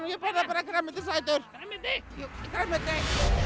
ég borða bara grænmetisætur grænmeti grænmeti